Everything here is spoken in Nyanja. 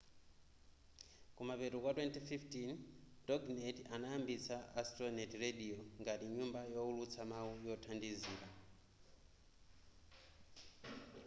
kumapeto kwa 2015 toginet anayambitsa astronet radio ngati nyumba youlutsa mau yothandizila